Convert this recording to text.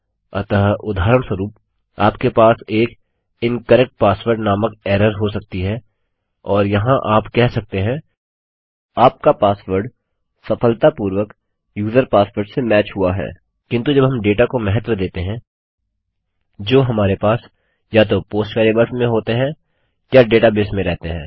अतः उदाहरणस्वरुप आपके पास एक इनकरेक्ट पासवर्ड नामक एरर हो सकती है और यहाँ आप कह सकते हैं आपका पासवर्ड सफलतापूर्वक यूज़र पासवर्ड से मैच हुआ है किन्तु जब हम डेटा को महत्व देते हैं जो हमारे पास या तो पोस्ट वेरिएबल्स में होते हैं या डेटा बेस में रहते हैं